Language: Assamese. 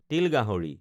তিল গাহৰি